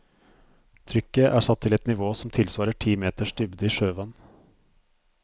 Trykket er satt til et nivå som tilsvarer ti meters dybde i sjøvann.